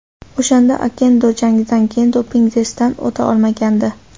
O‘shanda Okendo jangdan keyin doping testdan o‘ta olmagandi.